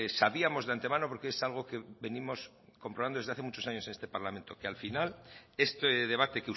sabíamos de antemano porque es algo que venimos comprobando desde hace muchos años en este parlamento que al final este debate